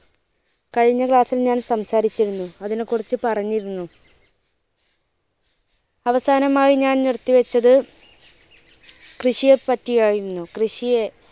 കഴിഞ്ഞ class ൽ ഞാൻ സംസാരിച്ചിരുന്നു അതിനെ കുറിച്ച് പറഞ്ഞിരുന്നു അവസാനമായി ഞാൻ നിർത്തി വെച്ചത് കൃഷിയെ പറ്റി ആയിരുന്നു. കൃഷിയെ